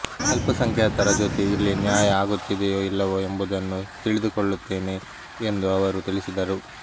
ಅಲ್ಪಸಂಖ್ಯಾತರ ಜೊತೆ ಇಲ್ಲಿ ನ್ಯಾಯ ಆಗುತ್ತಿದೆಯೋ ಇಲ್ಲವೋ ಎಂಬುದನ್ನು ತಿಳಿದುಕೊಳ್ಳುತ್ತೇನೆ ಎಂದು ಅವರು ತಿಳಿಸಿದರು